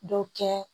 Dɔ kɛ